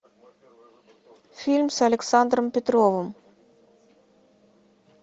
фильм с александром петровым